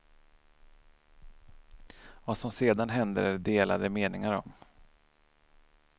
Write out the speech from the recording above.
Vad som sedan hände är det delade meningar om.